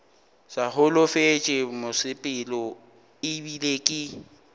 sa holofetše mosepelo ebile ke